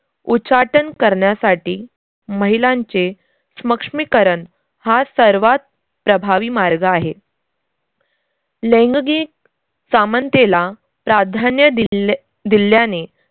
उच्चाटन करण्यासाठी महिलांचे स्मक्ष्मीकरन हा सर्वात प्रभावी मार्ग आहे. लैंगगिक सामनतेला प्राधान्य दिल्य दिल्याने